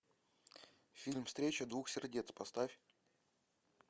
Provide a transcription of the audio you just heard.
фильм встреча двух сердец поставь